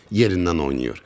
Yerindən oynayır.